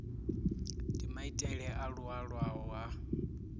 ndi maitele a laulwaho a